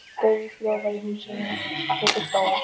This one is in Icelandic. Steinhljóð var í húsinu.